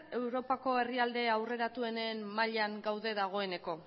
europako herrialde aurreratuenen mailan gaude dagoeneko